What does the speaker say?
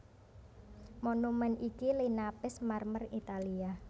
Monumèn iki linapis marmer Italia